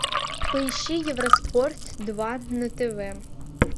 поищи евроспорт два на тв